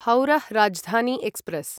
हौरः Rajdhani express